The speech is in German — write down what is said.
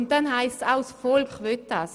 Es wurde gesagt, das Volk wolle das.